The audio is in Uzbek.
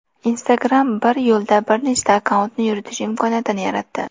Instagram bir yo‘la bir nechta akkauntni yuritish imkoniyatini yaratdi.